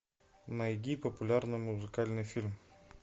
найди популярно музыкальный фильм